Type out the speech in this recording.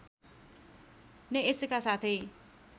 नै यसका साथै